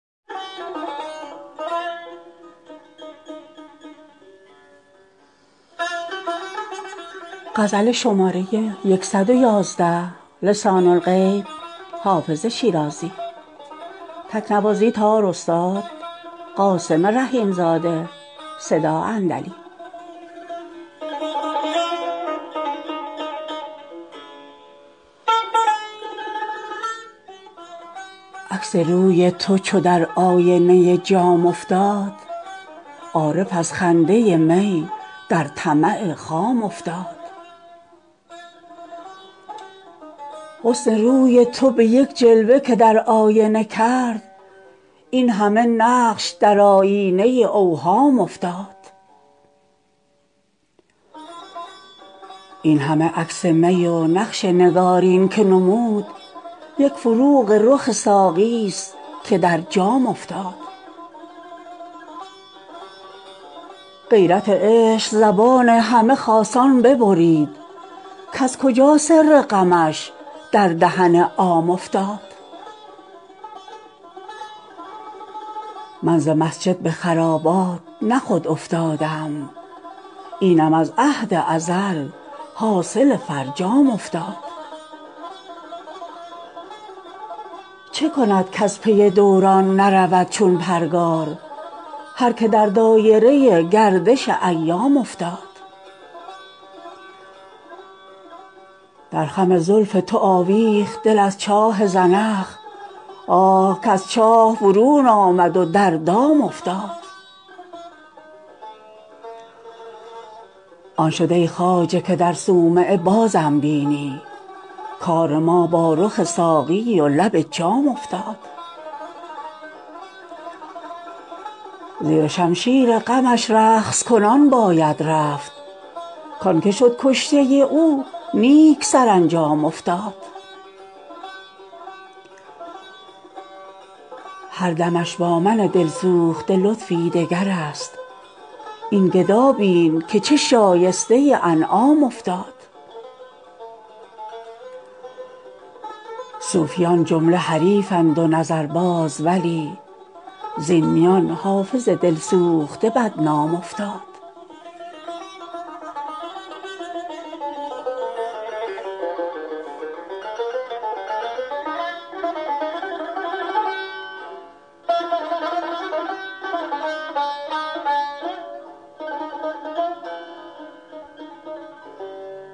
عکس روی تو چو در آینه جام افتاد عارف از خنده می در طمع خام افتاد حسن روی تو به یک جلوه که در آینه کرد این همه نقش در آیینه اوهام افتاد این همه عکس می و نقش نگارین که نمود یک فروغ رخ ساقی ست که در جام افتاد غیرت عشق زبان همه خاصان ببرید کز کجا سر غمش در دهن عام افتاد من ز مسجد به خرابات نه خود افتادم اینم از عهد ازل حاصل فرجام افتاد چه کند کز پی دوران نرود چون پرگار هر که در دایره گردش ایام افتاد در خم زلف تو آویخت دل از چاه زنخ آه کز چاه برون آمد و در دام افتاد آن شد ای خواجه که در صومعه بازم بینی کار ما با رخ ساقی و لب جام افتاد زیر شمشیر غمش رقص کنان باید رفت کـ آن که شد کشته او نیک سرانجام افتاد هر دمش با من دل سوخته لطفی دگر است این گدا بین که چه شایسته انعام افتاد صوفیان جمله حریفند و نظرباز ولی زین میان حافظ دل سوخته بدنام افتاد